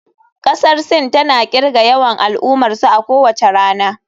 Kasar Sin tana kirga yawan al'ummarsu a kowace rana.